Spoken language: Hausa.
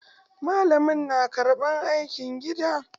Malamin na karɓan aikin gida.